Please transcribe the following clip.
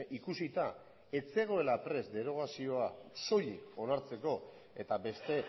ikusita ez zegoela prest derogazioa soilik onartzeko eta beste